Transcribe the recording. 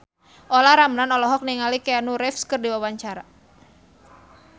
Olla Ramlan olohok ningali Keanu Reeves keur diwawancara